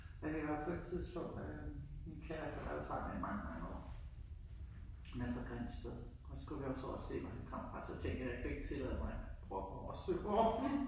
Ej vi var på et tidspunkt øh min kæreste har jeg været sammen med i mange mange år han er fra Grindsted og så skulle vi op og se hvor han kommer fra og jeg tænkte jeg kunne ikke tillade mig at brokke mig over Søborg